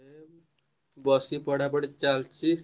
ଏଇ ବସିଛି ପଢା ପଢି ଚାଲିଛି।